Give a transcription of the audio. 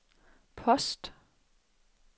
post